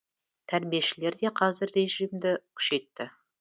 тәрбиешілер де қазір режимді күшейтті